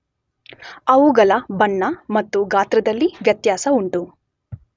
ಅವುಗಳ ಬಣ್ಣ ಮತ್ತು ಗಾತ್ರದಲ್ಲಿ ವ್ಯತ್ಯಾಸ ಉಂಟು.